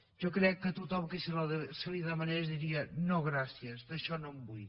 jo crec que tothom que li ho demanessin diria no gràcies d’això no en vull